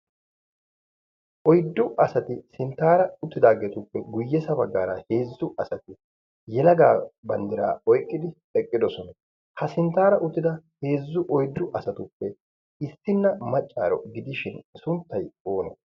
oyddu asati sinttaara uttidaageetuppe guyyesa baggaara heezzu asati yelagaa banddiraa oyqqidi eqqidosona ha sinttaara uttida heezzu oyddu asatuppe issinna maccaaro gidishin sunttay oona